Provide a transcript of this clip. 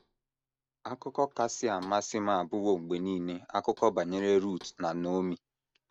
“ Akụkọ kasị amasị m abụwo mgbe nile akụkọ banyere Rut na Naomi.